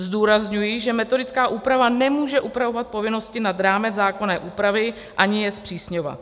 Zdůrazňuji, že metodická úprava nemůže upravovat povinnosti nad rámec zákonné úpravy, ani je zpřísňovat.